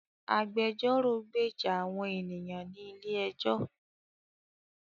Agbẹjọ́rò gbèjà àwọn ènìyàn ní ilé ẹjọ́